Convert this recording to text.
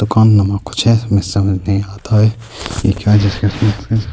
دوکانو مے کچھ ہے مے سامنے آتا ہے۔